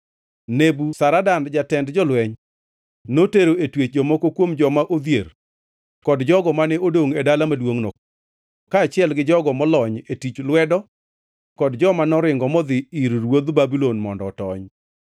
Nebuzaradan jatend jolweny notero e twech jomoko kuom joma odhier kod jogo mane odongʼ e dala maduongʼno, kaachiel gi jogo molony e tij lwedo kod joma noringo modhi ir ruodh Babulon mondo otony.